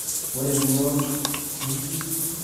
Ore emion orkulam naigiligil nebik naa entumoto yioloti.